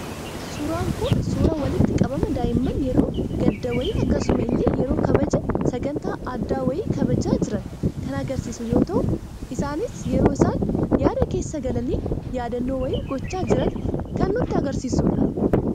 Suuraan Kun, suuraa walitti qabama daa'imman yeroo gaddaa wayii akkasuma illee yeroo kabaja sagantaa addaa wayii kabajaa jiran, kan agarsiisu yoo ta'u, isaanis yeroo isaan yaada keessa galanii yaadannoo wayii gochaa jirani kan nuti arginu.